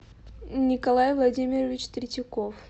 николай владимирович третьяков